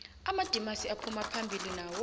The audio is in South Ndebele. amadimasi aphumaphambili nawo